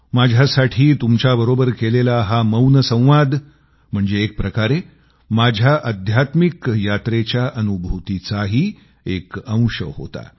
माझ्यासाठी तुमच्याबरोबर केलेला हा मौन संवाद म्हणजे एकप्रकारे माझ्या अध्यात्मिक यात्रेच्या अनुभूतीचाही एक अंश होता